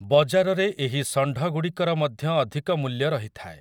ବଜାରରେ ଏହି ଷଣ୍ଢଗୁଡ଼ିକର ମଧ୍ୟ ଅଧିକ ମୂଲ୍ୟ ରହିଥାଏ ।